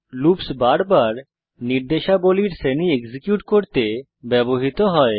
loops বারবার নির্দেশাবলীর শ্রেণী এক্সিকিউট করতে ব্যবহৃত হয়